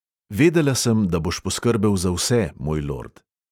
"Vedela sem, da boš poskrbel za vse, moj lord."